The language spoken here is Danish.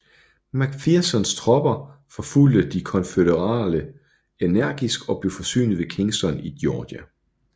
McPhersons tropper forfulgte de konfødererede energisk og blev forsynet ved Kingston i Georgia